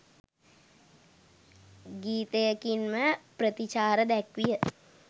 ගීතයකින්ම ප්‍රතිචාර දැක්විය